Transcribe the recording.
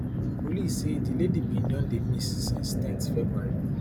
police say di lady bin don dey miss since ten th february